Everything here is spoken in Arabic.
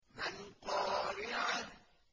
مَا الْقَارِعَةُ